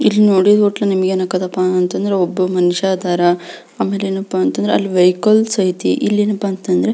ಇಲ್ಲಿ ನೋಡಿ ಈದ್ ಹೋಟೆಲ್ ಏನ್ ಅಗತ್ ಅಪ ಅಂದ್ರೆ ಒಬ್ಬ ಮನುಷ್ಯ ಅದರ ಆಮೇಲೆ ಏನಪಾ ಅಂತಂದ್ರೆ ವೆಹಿಕಲ್ಸ್ ಅಯ್ತಿ ಇಲ್ಲಿ ಏನಪ್ಪಾ ಅಂತ ಅಂದ್ರೆ --